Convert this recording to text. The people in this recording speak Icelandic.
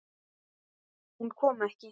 Hún kom ekki.